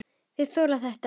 Þeir þola þetta ekki.